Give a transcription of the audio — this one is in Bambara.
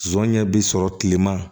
Zonɲɛ bi sɔrɔ kilema